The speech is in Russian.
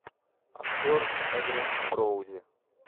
актер эдриан броуди